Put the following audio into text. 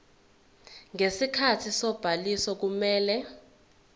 ngesikhathi sobhaliso kumele